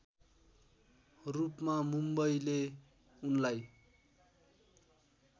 रूपमा मुम्बईले उनलाई